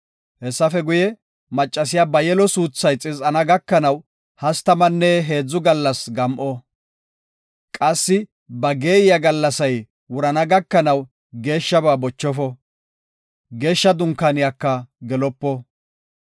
Hessafe guye, maccasiya ba yelo suuthay xiz7ana gakanaw hastamanne heedzu gallas gam7o; qassi ba geeyiya gallasay wurana gakanaw geeshshaba bochofo; Geeshsha Dunkaaniyaka gelopo.